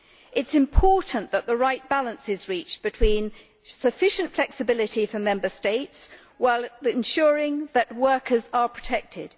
It is important that the right balance is reached between sufficient flexibility for Member States and ensuring that workers are protected.